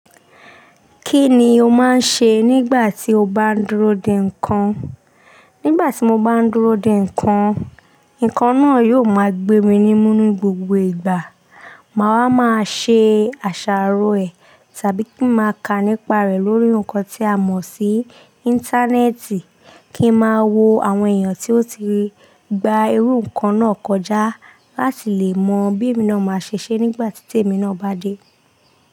Kí ni o máa ń ṣe nígbà tí o bá n dúró de nǹkan? Nígbà tí mo bá ń dúró de nǹkan, nǹkan náà yóò máa gbé mi ní mú ní gbogbo ìgbà. Màá wá máa ṣe àṣàrò ẹ̀ tàbí kí n máa kà nípa rẹ̀ lórí nǹkan tí a mọ̀ sí Íńtánẹ́ẹ̀tì kí n máa wo àwọn èèyàn tí ó ti gba irú nǹkan náà kọjá láti lè mọ bí emi náà máa ṣe ṣe nígbà tí tèmi náà bá dé.